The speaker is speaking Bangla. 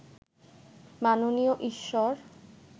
মাননীয় ঈশ্বর